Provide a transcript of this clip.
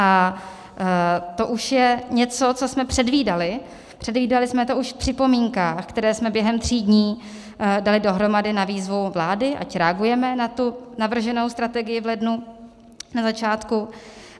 A to už je něco, co jsme předvídali, předvídali jsme to už v připomínkách, které jsme během tří dní dali dohromady na výzvu vlády, ať reagujeme na navrženou strategii v lednu, na začátku.